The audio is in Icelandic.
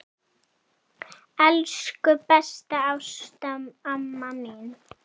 Elsku besta Ásta amma mín.